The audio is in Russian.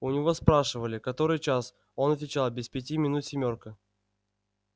у него спрашивали который час он отвечал без пяти минут семёрка